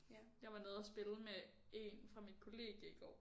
Jeg var nede og spille med en fra mit kollegie i går